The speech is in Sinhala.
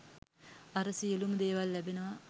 අර සියලුම දේවල් ලැබෙනවා